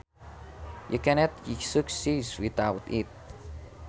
You cannot succeed without it